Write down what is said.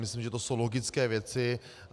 Myslím, že to jsou logické věci.